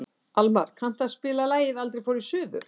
Almar, kanntu að spila lagið „Aldrei fór ég suður“?